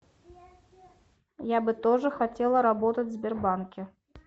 я бы тоже хотела работать в сбербанке